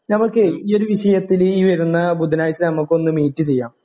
ഞമ്മക്കേ ഈ ഒരു വിഷയത്തില് ഈ വരുന്ന ബുധനാഴ്ച ഞമ്മക്കൊന്ന് മീറ്റ് ചെയ്യാം